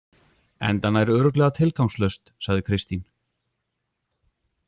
Enda nær örugglega tilgangslaust, sagði Kristín.